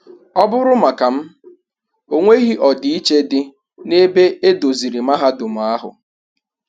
Ọ bụrụ maka m,ọ nweghi ọdịiche di na ebe edoziri mahadum ahụ.